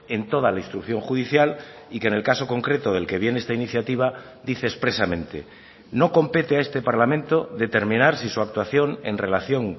en toda la instrucción judicial y que en el caso concreto del que viene esta iniciativa dice expresamente no compete a este parlamento determinar si su actuación en relación